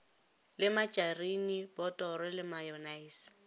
le matšarine botoro le mayonnaise